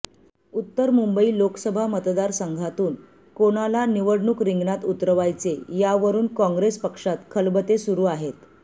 उत्तर मुंबई लोकसभा मतदार संघातून कोणाला निवडणूक रिंगणात उतरवायचे यावरून काँग्रेस पक्षात खलबते सुरू आहेत